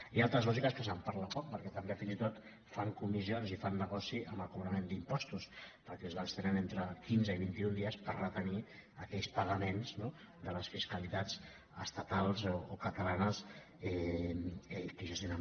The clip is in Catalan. hi ha altres lògiques que se’n parla poc perquè també fins i tot fan comissions i fan negoci amb el cobrament d’impostos perquè els bancs tenen entre quinze i vint·i·un dies per retenir aquells pagaments no de les fis·calitats estatals o catalanes que gestionen